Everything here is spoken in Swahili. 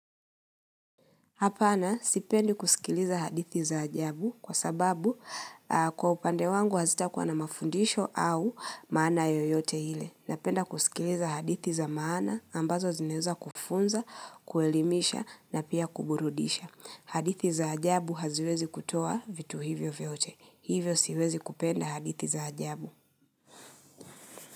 Hapana, sipendi kusikiliza hadithi za ajabu kwa sababu kwa upande wangu hazita kuwa na mafundisho au maana yoyote ile. Napenda kusikiliza hadithi za maana ambazo zineza kufunza, kuelimisha na pia kuburudisha. Hadithi za ajabu haziwezi kutoa vitu hivyo vyote. Hivyo siwezi kupenda hadithi za ajabu.